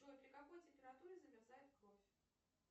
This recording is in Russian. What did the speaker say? джой при какой температуре замерзает кровь